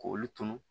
K'olu tunu